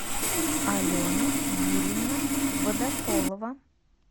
алена юрьевна водополова